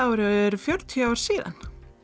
ári eru fjörutíu ár síðan